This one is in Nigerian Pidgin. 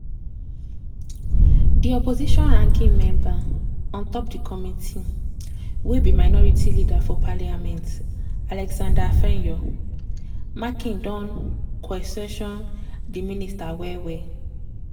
di opposition ranking member on top di committee - wey be minority leader for parliament alexander afenyo-markin don kwesion di minister well well.